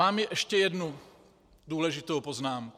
Mám ještě jednou důležitou poznámku.